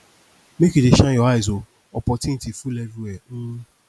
make you dey shine your eyes o opportunity full everywhere um